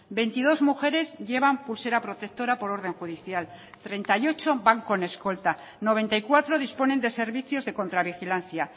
veintidos mujeres llevan pulsera protectora por orden judicial treinta y ocho van con escolta noventa y cuatro disponen de servicios de contravigilancia